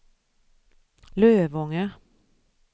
Lövånger